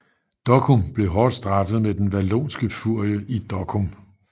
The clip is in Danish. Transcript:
Dokkum blev hårdt straffet med den Wallonske Furie i Dokkum